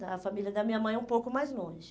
Da família da minha mãe, um pouco mais longe.